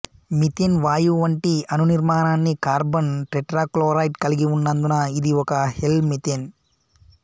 methane వాయువు వంటి అణునిర్మాణాన్ని కార్బన్ టెట్రాక్లోరైడ్ కలిగి ఉన్నందున ఇది ఒక హెలో మిథేన్